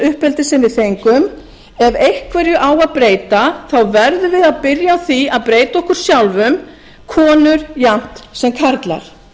uppeldis sem við fengum ef einhverju á að breyta verðum við að byrja á því að breyta okkur sjálfum konur jafnt sem karlar